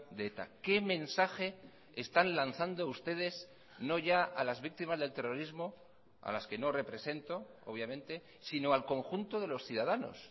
de eta qué mensaje están lanzando ustedes no ya a las víctimas del terrorismo a las que no represento obviamente sino al conjunto de los ciudadanos